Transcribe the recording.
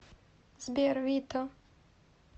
сбер вито